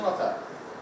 Elvin də dedi ki, ata.